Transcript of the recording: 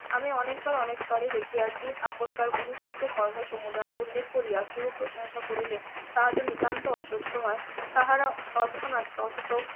আমি অনেকবার অনেক তলে দেখিয়াছি আপনকার অনুষ্ঠিত কর্মসুমুদায়ের উল্লেখ করিয়া কেউ প্রশংসা করলে তাহাদের নিতান্ত অসহ্য হয় তাহারা তৎক্ষণাৎ .